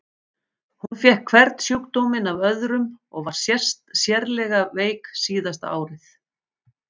Hún fékk hvern sjúkdóminn af öðrum og var sérlega veik síðasta árið.